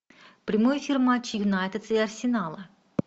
прямой эфир матча юнайтед и арсенала